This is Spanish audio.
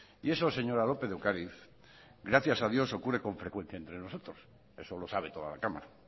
y eso señora lópez de ocariz gracias a dios ocurre con frecuencia entre nosotros eso lo sabe toda la cámara